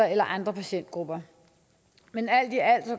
eller andre patientgrupper men alt i alt